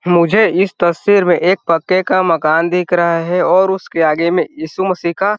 मुझे इस तस्वीर में एक पक्के का मकान दिख रहा है और उसके आगे में इशू मसी का --